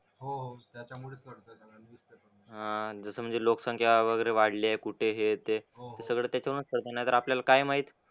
अह जसं म्हणजे लोकसंख्या वगैरे वाढली आहे कुठे हे ते सगळं त्याच्यामुळंच कळतं. नाहीतर आपल्याला काय माहित.